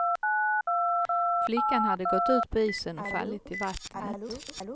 Flickan hade gått ut på isen och fallit i vattnet.